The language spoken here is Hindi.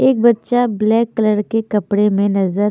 एक बच्चा ब्लैक कलर के कपड़े में नजर--